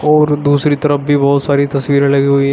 और दूसरी तरफ भी बहोत सारी तस्वीरें लगी हुई हैं।